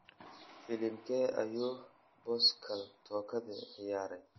Filimkee ayuu Pascal Tokodi ciyaaray?